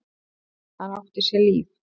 Hann átti sér líf.